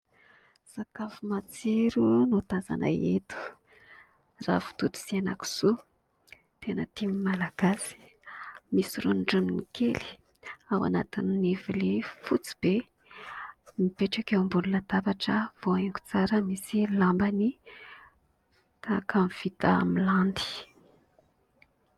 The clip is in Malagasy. Sakafo matsiro no tazana eto ravitoto sy henakisoa tena tian' ny malagasy, misy rondroniny kely ao anatin'ny vilia fotsy be, mipetraka eo ambonina latabatra voahaingo tsara, misy lambany tahaka ny vita amin'ny landy.